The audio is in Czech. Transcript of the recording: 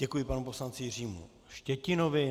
Děkuji panu poslanci Jiřímu Štětinovi.